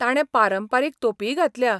ताणें पारंपारीक तोपीय घातल्या.